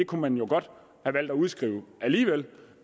kunne man jo godt have valgt at udskrive alligevel